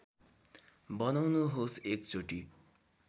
बनाउनुहोस् एक चोटी